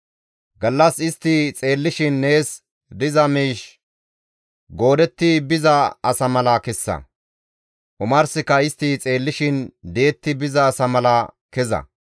Gallas istti xeellishin nees diza miish goodetti biza asa mala kessa; omarsika istti xeellishin di7etti biza asa mala keza.